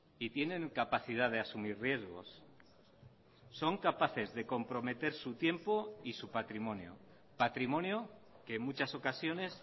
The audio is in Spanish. y tienen capacidad de asumir riesgos son capaces de comprometer su tiempo y su patrimonio patrimonio que en muchas ocasiones